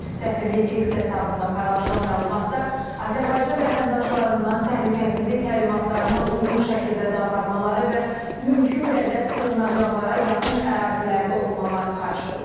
Səfirliyin X hesabında paylaşılan məlumatda Azərbaycan vətəndaşlarından təhlükəsizlik təlimatlarına uyğun şəkildə davranmaları və mümkün qədər sığınacaqlara yaxın ərazilərdə olmaları xahiş olunub.